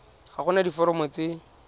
ga go na diforomo tse